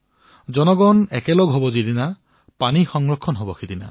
যেতিয়া জনতা জড়িত হৈ পৰিব তেতিয়াই পানী সংৰক্ষণ হব